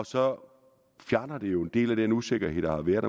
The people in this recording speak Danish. så fjerner det jo en del af den usikkerhed der har været